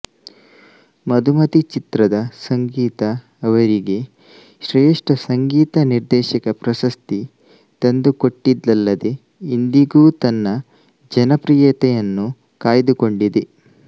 ಮಧುಮತಿ ಚಿತ್ರದ ಸಂಗೀತ ಅವರಿಗೆ ಶ್ರೇಷ್ಠ ಸಂಗೀತ ನಿರ್ದೇಶಕ ಪ್ರಶಸ್ತಿ ತಂದುಕೊಟ್ಟಿದ್ದಲ್ಲದೆ ಇಂದಿಗೂ ತನ್ನ ಜನಪ್ರಿಯತೆಯನ್ನು ಕಾಯ್ದುಕೊಂಡಿದೆ